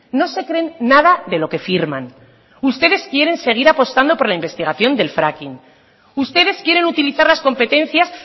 no se creen nada de lo que firman ustedes quieren seguir apostando por la investigación del fracking ustedes quieren utilizar las competencias